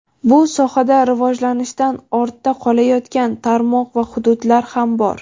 bu sohada rivojlanishdan ortda qolayotgan tarmoq va hududlar ham bor.